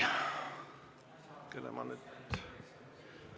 Kelle ma nüüd ...